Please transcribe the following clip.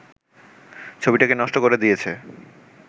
ছবিটাকে নষ্ট করে দিয়েছে